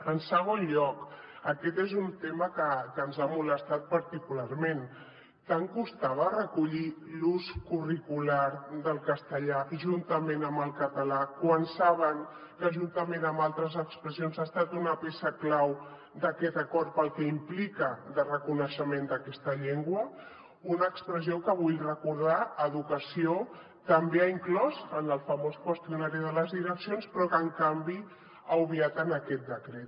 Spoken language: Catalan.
en segon lloc aquest és un tema que ens ha molestat particularment tant costava recollir l’ús curricular del castellà juntament amb el català quan saben que juntament amb altres expressions ha estat una peça clau d’aquest acord pel que implica de reconeixement d’aquesta llengua una expressió que ho vull recordar educació també ha inclòs en el famós qüestionari de les direccions però que en canvi ha obviat en aquest decret